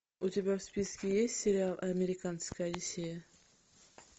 у тебя в списке есть сериал американская одиссея